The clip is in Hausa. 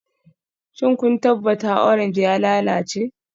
Shin kun tabbata orange ya lalace?